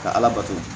Ka ala bato